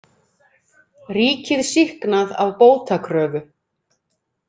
Ríkið sýknað af bótakröfu